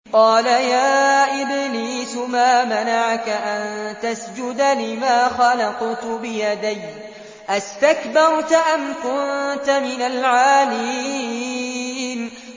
قَالَ يَا إِبْلِيسُ مَا مَنَعَكَ أَن تَسْجُدَ لِمَا خَلَقْتُ بِيَدَيَّ ۖ أَسْتَكْبَرْتَ أَمْ كُنتَ مِنَ الْعَالِينَ